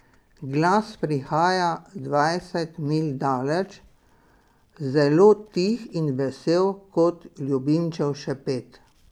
Glas prihaja dvajset milj daleč, zelo tih in vesel kot ljubimčev šepet.